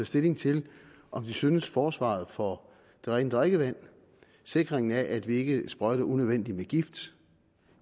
stilling til om de synes at forsvaret for det rene drikkevand sikringen af at vi ikke sprøjter unødvendigt med gift